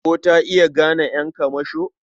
Ko ta iya gane ƴan kamasho?